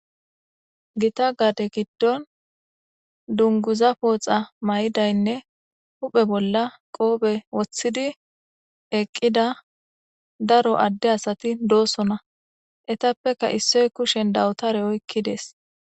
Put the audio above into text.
gita gaade giddon dunguza pooxa may7idaynne huphe bolla qoobe wothidi eqqida daro adde asati doosona etappeka issoy kushen dawutare oykki dees